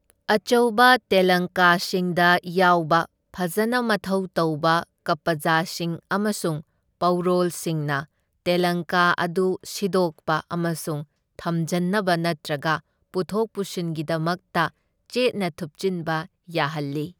ꯑꯆꯧꯕ ꯇꯦꯂꯪꯀꯥꯁꯤꯡꯗ ꯌꯥꯎꯕ ꯐꯖꯅ ꯃꯊꯧ ꯇꯧꯕ ꯀꯄꯖꯁꯤꯡ ꯑꯃꯁꯨꯡ ꯄꯧꯔꯣꯜꯁꯤꯡꯅ ꯇꯦꯂꯪꯀꯥ ꯑꯗꯨ ꯁꯤꯗꯣꯛꯄ ꯑꯃꯁꯨꯡ ꯊꯝꯖꯟꯅꯕ ꯅꯠꯇ꯭ꯔꯒ ꯄꯨꯊꯣꯛ ꯄꯨꯁꯤꯟꯒꯤꯗꯃꯛꯇ ꯆꯦꯠꯅ ꯊꯨꯞꯆꯤꯟꯕ ꯌꯥꯍꯜꯂꯤ꯫